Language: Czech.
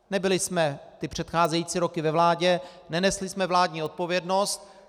Nebyli jsme ty předcházející roky ve vládě, nenesli jsme vládní odpovědnost.